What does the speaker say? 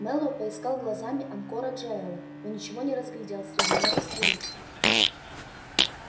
мэллоу поискал глазами анкора джаэля но ничего не разглядел среди множества лиц